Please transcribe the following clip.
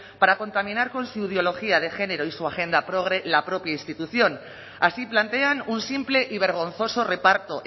para contaminar con su ideología de género y su agenda progre la propia institución así plantean un simple y vergonzoso reparto